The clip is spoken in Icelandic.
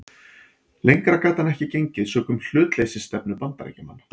Lengra gat hann ekki gengið sökum hlutleysisstefnu Bandaríkjamanna.